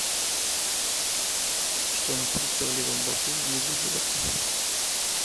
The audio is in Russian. что находится в левом боку внизу живота